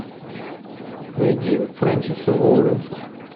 найди френсиса лоуренса